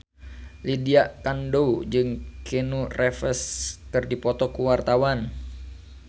Lydia Kandou jeung Keanu Reeves keur dipoto ku wartawan